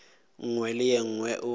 nngwe le ye nngwe o